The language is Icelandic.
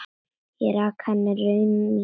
Ég rakti henni raunir mínar.